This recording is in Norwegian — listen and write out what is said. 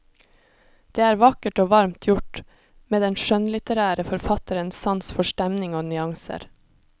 Det er vakkert og varmt gjort, med den skjønnlitterære forfatterens sans for stemning og nyanser.